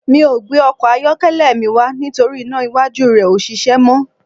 Mi ò gbé ọkọ̀ ayọ́kẹ́lẹ́ mi wá nítorí iná iwájú rẹ̀ ò ṣiṣẹ́ mọ́